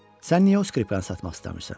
Sən niyə o skripkanı satmaq istəmirsən?